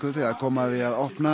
þegar kom að því að opna